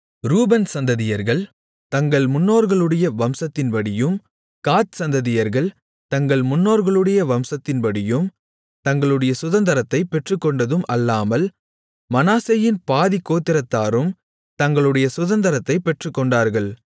ரூபன் சந்ததியர்கள் தங்கள் முன்னோர்களுடைய வம்சத்தின்படியும் காத் சந்ததியர்கள் தங்கள் முன்னோர்களுடைய வம்சத்தின்படியும் தங்களுடைய சுதந்தரத்தைப் பெற்றுக்கொண்டதும் அல்லாமல் மனாசேயின் பாதிக் கோத்திரத்தாரும் தங்களுடைய சுதந்தரத்தைப் பெற்றுக்கொண்டார்கள்